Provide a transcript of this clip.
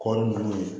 Kɔɔri nunnu ye